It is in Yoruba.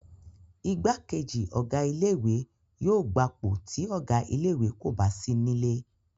Igbákejì Ọ̀gá ilé ìwé yóò gbapò tí Ọ̀gá ilé ìwé kò bá sí nílé